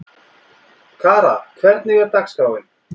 Kara, hvernig er dagskráin?